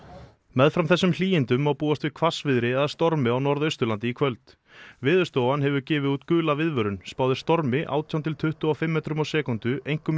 meðfram þessum hlýindum má búast við hvassviðri eða stormi á Norðausturlandi í kvöld Veðurstofan hefur gefið út gula viðvörun spáð er stormi átján til tuttugu og fimm metrum á sekúndu einkum